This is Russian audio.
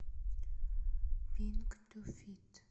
пинк ту фит